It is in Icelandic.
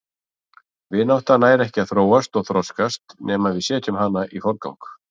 Vinátta nær ekki að þróast og þroskast nema við setjum hana í forgang.